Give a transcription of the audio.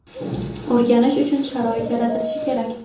o‘rganish uchun sharoit yaratilishi kerak.